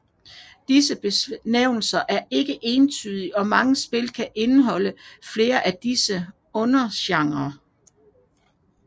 Disse benævnelser er ikke entydige og mange spil kan indeholde flere af disse undergenrer